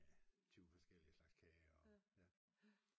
Med 20 forskellige slags kager og ja